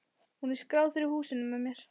Hún er skráð fyrir húsinu með mér.